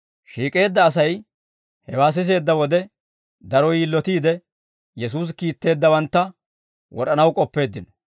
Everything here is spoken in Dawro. Shiik'eedda Asay hewaa siseedda wode, daro yilotiide, Yesuusi kiitteeddawantta wod'anaw k'oppeeddino.